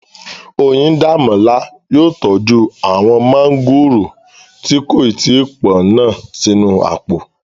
Oyíndàmọ́lá yóò tọ́jú àwọn mọ́ngòrò tí kò tí pọ́n náà sínú àpò